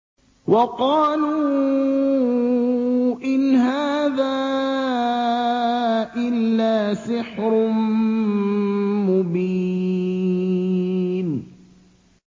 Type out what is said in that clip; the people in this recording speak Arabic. وَقَالُوا إِنْ هَٰذَا إِلَّا سِحْرٌ مُّبِينٌ